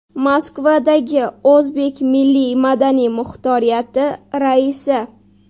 Moskvadagi O‘zbek milliy-madaniy muxtoriyati raisi.